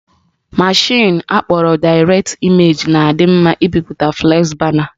Mashịn akpọrọ Direct Image na-adị mma ibipụta flexi bana